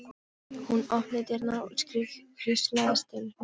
Hún opnaði dyrnar og ískrið hríslaðist um mig.